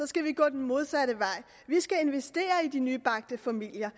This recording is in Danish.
skal vi gå den modsatte vej vi skal investere i de nybagte familier